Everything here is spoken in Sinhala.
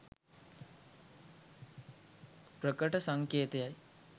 ප්‍රකට සංකේතයයි.